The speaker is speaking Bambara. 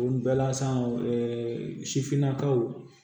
O bɛɛ la san wo sifinnakaw